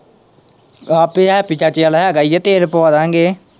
ਆਹ ਪਿਆ ਹੈਪੀ ਚਾਚੇ ਵਾਲ਼ਾ ਹੈਗਾ ਹੀ ਏ ਤੇਲ ਪਵਾਂ ਦਿਆਂਗੇ।